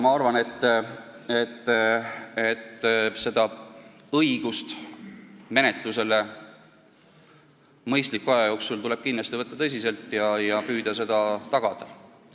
Ma arvan, et õigust kohtumenetlusele mõistliku aja jooksul tuleb tõsiselt võtta ja püüda seda tagada.